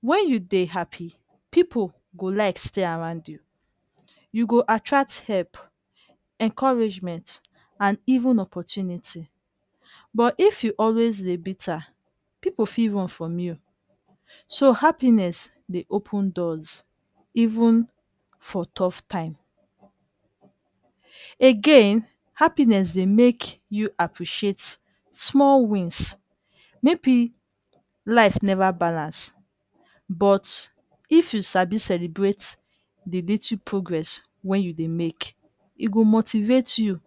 when you Dey happy pipu go like stay Arand you, you go attract help, encouragement and even opportunity but if you always Dey bitter pipu fit run from you so happiness Dey open doors even for tough time, again happiness Dey make you appreciate small wins maybe life never balance but, if you sabi celebrate the little progress wen you Dey make e go motivate you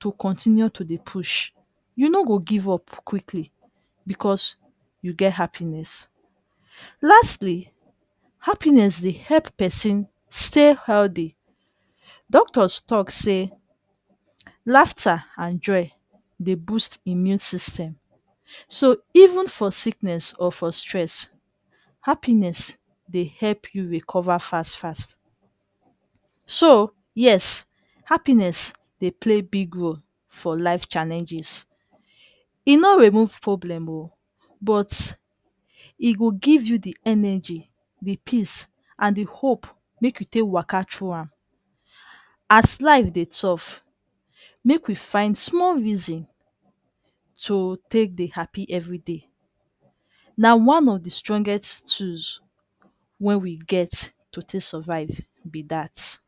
to continue to Dey push, you no go give up quickly because you get happiness, lastly happiness help person stay healthy, doctors talk say laughter and joy Dey boost immune system, so even for sickness or for stress, happiness Dey help you recover fast fast, sooo yes happiness Dey play big role for life challenges, e no remove problems o, but e go give you the energy the peace and the hope make you take waka thru am as life Dey tough make we find small reason tooo take Dey happy everyday na wan of the strongest tools wey we get to take survive be that